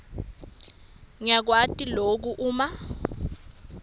yakwati loku uma